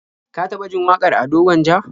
Ka taɓa jin wakar Ado Gwanja?